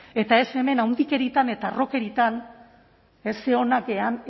eta ez hemen handikeriatan eta harrokeriatan ze onak garen